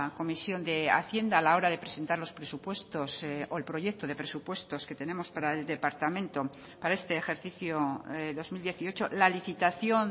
comisión de hacienda a la hora de presentar los presupuestos o el proyecto de presupuestos que tenemos para el departamento para este ejercicio dos mil dieciocho la licitación